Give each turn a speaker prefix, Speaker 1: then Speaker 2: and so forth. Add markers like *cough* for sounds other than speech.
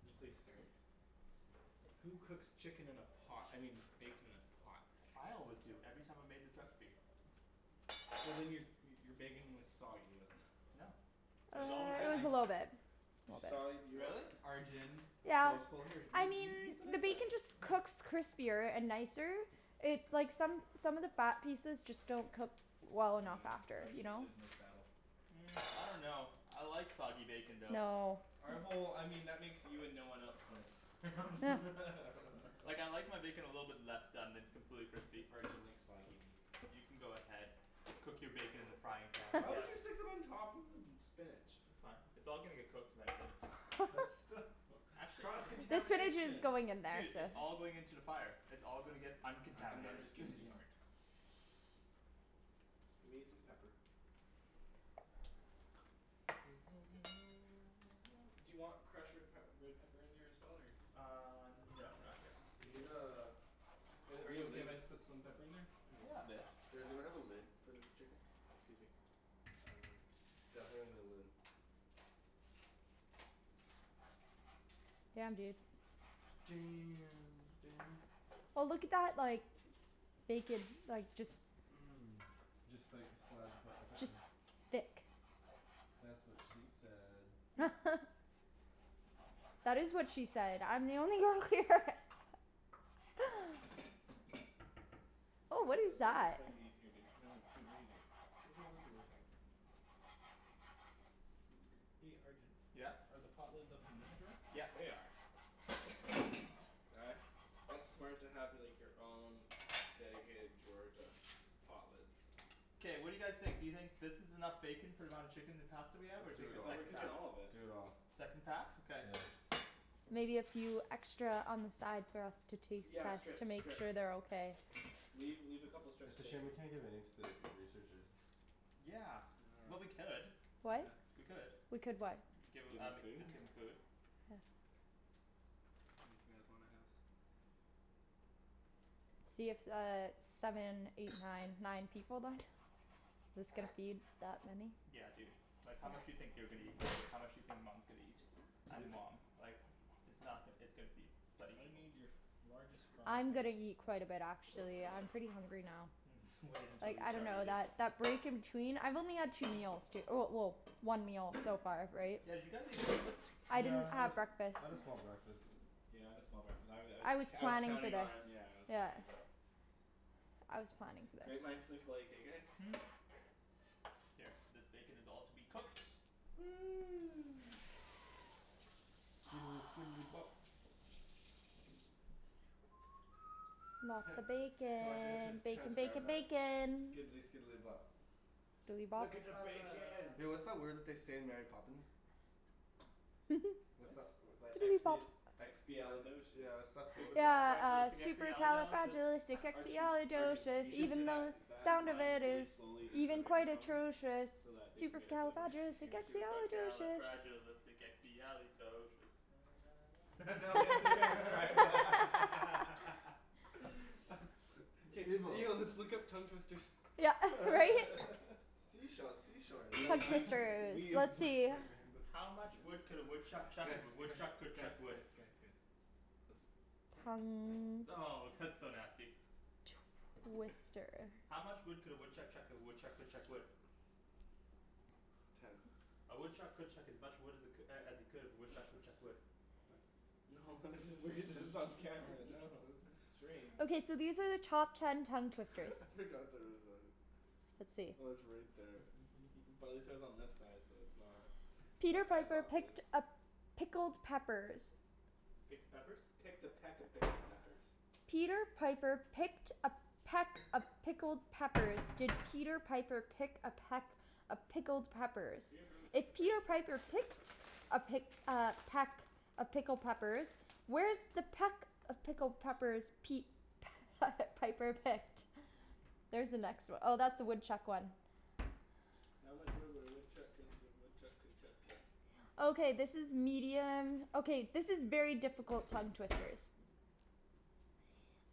Speaker 1: And please stir. Who cooks chicken in a pot? I mean bacon in a pot?
Speaker 2: I always do. Every time I made this recipe.
Speaker 1: Well then your your bacon was soggy, wasn't it.
Speaker 2: No. It was
Speaker 1: I,
Speaker 2: always
Speaker 3: Uh it
Speaker 2: good.
Speaker 1: I
Speaker 3: was
Speaker 1: I.
Speaker 3: a little bit.
Speaker 4: You,
Speaker 3: A little
Speaker 4: sorry,
Speaker 3: bit.
Speaker 4: you what?
Speaker 2: Really?
Speaker 1: Arjan. *inaudible*
Speaker 3: Yeah.
Speaker 1: here. You
Speaker 3: I mean
Speaker 1: you you can
Speaker 3: the
Speaker 1: make that,
Speaker 3: bacon just
Speaker 1: here.
Speaker 3: cooks crispier and nicer, it's like, some some of the fat pieces just don't cook well enough
Speaker 1: Yeah.
Speaker 3: after. You
Speaker 1: Arjan, you're
Speaker 3: know?
Speaker 1: losing this battle.
Speaker 2: Hmm. I dunno. I like soggy bacon though.
Speaker 3: No.
Speaker 1: All right, well, I mean that makes you and no one else in this.
Speaker 3: Huh.
Speaker 1: *laughs*
Speaker 2: Like I like my bacon a little bit less done than completely crispy.
Speaker 1: Arjan likes soggy meat.
Speaker 2: You can go ahead, cook your bacon in the frying pan I
Speaker 1: Why would
Speaker 2: guess.
Speaker 1: you stick
Speaker 3: *laughs*
Speaker 1: it on top of the spinach?
Speaker 2: That's fine. It's all gonna get cooked eventually.
Speaker 1: But
Speaker 3: *laughs*
Speaker 1: still.
Speaker 2: Actually no.
Speaker 1: Cross
Speaker 3: The spinach is
Speaker 1: contamination?
Speaker 3: going in there,
Speaker 2: Dude,
Speaker 3: so.
Speaker 2: it's all going into the fire. It's all gonna get
Speaker 1: I'm I'm
Speaker 2: uncontaminated.
Speaker 1: just giving you a hard time. Let me get some pepper. *noise* Do you want crushed red pep red pepper in there as well or?
Speaker 2: Uh no
Speaker 1: No? No.
Speaker 2: not yet.
Speaker 4: We need uh
Speaker 1: Are
Speaker 4: We need a
Speaker 1: you okay
Speaker 4: lid.
Speaker 1: if I put some pepper in there?
Speaker 2: Yeah a bit.
Speaker 4: Is there we have a lid for this chicken?
Speaker 1: Excuse me. Um.
Speaker 4: Definitely need a lid.
Speaker 3: Damn dude.
Speaker 1: Damn Daniel.
Speaker 3: Oh look at that like, bacon, like, just
Speaker 1: Mm.
Speaker 4: Just like a slide of
Speaker 3: Just
Speaker 4: *inaudible*
Speaker 3: thick.
Speaker 4: That's what she said.
Speaker 3: *laughs* That is what she said! I'm the only girl here! *laughs*
Speaker 1: *inaudible*
Speaker 3: Oh what is
Speaker 1: this
Speaker 3: that?
Speaker 1: might be in here dude. No no dude, what are you doing.
Speaker 4: There's no lids in there.
Speaker 1: Hey Arjan?
Speaker 2: Yeah?
Speaker 1: Are the pot lids up in this drawer?
Speaker 2: Yeah.
Speaker 1: They are. Uh, that's smart to like have your own dedicated drawer to pot lids.
Speaker 2: K, what do you guys think, do you think this is enough bacon for the amount of chicken and pasta we have or
Speaker 4: Do
Speaker 2: take
Speaker 1: I
Speaker 4: it
Speaker 2: the
Speaker 4: all.
Speaker 1: thought we're
Speaker 2: second
Speaker 1: cooking
Speaker 2: pack?
Speaker 1: all of it.
Speaker 4: Do it all.
Speaker 2: Second pack? Okay.
Speaker 4: Yeah.
Speaker 3: Maybe a few extra on the side for us to taste
Speaker 1: Yeah
Speaker 3: just to
Speaker 1: strips,
Speaker 3: make
Speaker 1: strips.
Speaker 3: sure they're okay.
Speaker 1: Leave, leave a couple strips
Speaker 4: It's
Speaker 1: of
Speaker 4: a shame
Speaker 1: bacon.
Speaker 4: we can't give any to the researchers.
Speaker 2: Yeah. Well we
Speaker 1: *noise*
Speaker 2: could.
Speaker 3: What?
Speaker 1: *noise*
Speaker 2: We could.
Speaker 3: We could what?
Speaker 2: Give
Speaker 1: Give
Speaker 2: them
Speaker 1: them
Speaker 2: um, the
Speaker 1: food?
Speaker 2: team the food.
Speaker 3: Yeah.
Speaker 1: *inaudible* in the house.
Speaker 3: See it's uh seven, eight, nine nine people then? This gonna feed that many?
Speaker 2: Yeah dude. Like how much do you think they're gonna eat, how much do you think Mom's gonna eat? And mom. Like, it's not, it's gonna feed thirty
Speaker 1: I
Speaker 2: people.
Speaker 1: need your largest frying
Speaker 3: I'm
Speaker 1: pan.
Speaker 3: gonna eat quite a bit actually, I'm pretty hungry now.
Speaker 2: Mhm. Wait until
Speaker 3: Like
Speaker 2: you
Speaker 3: I
Speaker 2: start
Speaker 3: dunno
Speaker 2: eating.
Speaker 3: that break in between, I've only had two meals, well well one meal so far, right?
Speaker 2: Yeah did you guys eat breakfast?
Speaker 3: I didn't
Speaker 4: Yeah I had
Speaker 3: have breakfast.
Speaker 4: I had a small breakfast.
Speaker 1: Yeah I had a small breakfast. I was I was
Speaker 3: I was
Speaker 1: I was
Speaker 3: planning for
Speaker 1: counting
Speaker 3: this.
Speaker 1: on, yeah I was
Speaker 3: Yeah.
Speaker 1: counting on...
Speaker 3: I was planning for
Speaker 1: Great
Speaker 3: this.
Speaker 1: minds think alike, eh guys?
Speaker 2: Hmm? Here. This bacon is all to be cooked.
Speaker 4: *noise* Skidely skidely bop. Heh.
Speaker 3: Lots of
Speaker 4: I wonder if they have to
Speaker 3: bacon. Bacon
Speaker 4: transcribe
Speaker 3: bacon
Speaker 4: that.
Speaker 3: bacon.
Speaker 1: *noise*
Speaker 4: Skidely skidely bop.
Speaker 1: Look at the
Speaker 3: *noise*
Speaker 1: bacon!
Speaker 2: *noise*
Speaker 4: Yo what's that word that they say in Mary Poppins?
Speaker 3: *laughs*
Speaker 4: What's
Speaker 1: What?
Speaker 4: that, that expi-
Speaker 3: *noise*
Speaker 4: expiali-
Speaker 1: Expialidocious.
Speaker 4: yeah what's that word?
Speaker 3: Yeah uh,
Speaker 2: Supercalifragilisticexpialidocious!
Speaker 1: Arjun. Arjun. You
Speaker 3: supercalifragilisticexpialidocious,
Speaker 1: should say
Speaker 3: even though
Speaker 1: that
Speaker 3: the
Speaker 1: that
Speaker 3: sound of
Speaker 1: line
Speaker 3: it
Speaker 1: really
Speaker 3: is
Speaker 1: slowly into a
Speaker 3: even quite
Speaker 1: microphone.
Speaker 3: atrocious,
Speaker 1: So that they can get it *inaudible*
Speaker 3: supercalifragilisticexpialidocious.
Speaker 2: Supercalifragilisticexpialidocious.
Speaker 1: *laughs* Now they have to transcribe
Speaker 4: *laughs*
Speaker 3: *laughs*
Speaker 1: *laughs* *laughs*
Speaker 4: Evil.
Speaker 1: Yo, let's look up tongue twisters.
Speaker 3: Yeah right?
Speaker 1: *laughs*
Speaker 4: Sea shells sea shores
Speaker 1: We will
Speaker 4: down
Speaker 3: Tongue
Speaker 4: by
Speaker 1: be,
Speaker 4: the
Speaker 3: twisters.
Speaker 1: we...
Speaker 3: Let's see.
Speaker 4: Wait, wait, listen.
Speaker 2: How much wood could a woodchuck
Speaker 1: Guys
Speaker 2: chuck if a
Speaker 1: guys
Speaker 2: woodchuck
Speaker 1: guys
Speaker 2: could
Speaker 1: guys
Speaker 2: chuck wood?
Speaker 1: guys guys. Listen.
Speaker 3: Tongue
Speaker 2: Oh! That's so nasty.
Speaker 3: Twister.
Speaker 2: How much wood could a woodchuck chuck if a woodchuck could chuck wood?
Speaker 4: Ten.
Speaker 2: A woodchuck could chuck as much wood as it as he could if a woodchuck could chuck wood.
Speaker 4: Oh.
Speaker 1: No this is weird, this is on camera, no, this is strange.
Speaker 3: Okay so these are the top ten tongue twisters.
Speaker 1: *laughs*
Speaker 4: I
Speaker 1: I forgot
Speaker 4: forgot that
Speaker 1: that
Speaker 4: it
Speaker 1: it was
Speaker 4: was on.
Speaker 1: on.
Speaker 3: Let's see.
Speaker 4: Oh it's right there.
Speaker 1: *laughs* Probably says on this side so it's not
Speaker 3: Peter
Speaker 1: as
Speaker 3: Piper picked
Speaker 1: obvious.
Speaker 3: a pickled peppers.
Speaker 2: Picked a peppers?
Speaker 1: Picked a peck of pickled peppers.
Speaker 3: Peter Piper picked a peck of pickled peppers. Did Peter Piper pick a peck of pickled peppers,
Speaker 1: Peter Piper
Speaker 3: if
Speaker 1: picked a peck
Speaker 3: Peter
Speaker 1: of
Speaker 3: Piper
Speaker 1: pick pickled peck
Speaker 3: picked a pick
Speaker 1: peppers.
Speaker 3: uh peck of pickled peppers, where's the peck of pickled peppers Pete *laughs* Piper picked? There's the next one. Oh that's the woodchuck one.
Speaker 1: How much wood would a woodchuck could if a woodchuck could chuck wood?
Speaker 3: Okay this is medium, okay this is very difficult tongue twisters.